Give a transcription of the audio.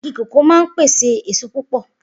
Igi kòkó máa ń pèsè èso púpọ̀